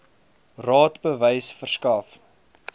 raad bewys verskaf